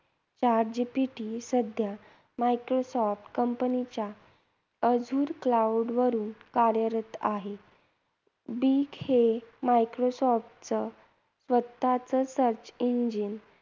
Chat GPT सध्या Microsoft कंपनीच्या azure cloud वरून कार्यरत आहे. Bing हे मायक्रोसॉफ्टच स्वतःच search engine